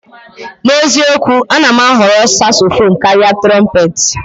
N'eziokwu, a na m ahọrọ Sasofonu karịa Trompetị.